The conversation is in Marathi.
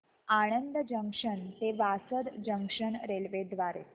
आणंद जंक्शन ते वासद जंक्शन रेल्वे द्वारे